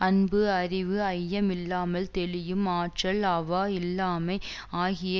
அன்பு அறிவு ஐயமில்லாமல் தெளியும் ஆற்றல் அவா இல்லாமை ஆகிய